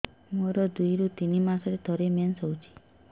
ମୋର ଦୁଇରୁ ତିନି ମାସରେ ଥରେ ମେନ୍ସ ହଉଚି